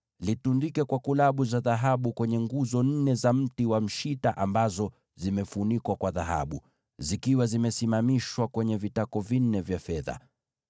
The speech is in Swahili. Litundike kwa kulabu za dhahabu kwenye nguzo nne za mti wa mshita ambazo zimefunikwa kwa dhahabu, zikiwa zimesimamishwa kwenye vitako vinne vya fedha.